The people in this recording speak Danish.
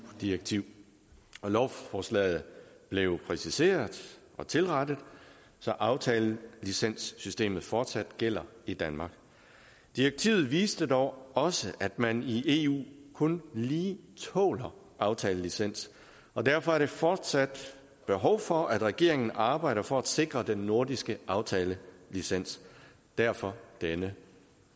direktiv lovforslaget blev præciseret og tilrettet så aftalelicenssystemet fortsat gælder i danmark direktivet viste dog også at man i eu kun lige tåler aftalelicens og derfor er der fortsat behov for at regeringen arbejder for at sikre den nordiske aftalelicens derfor denne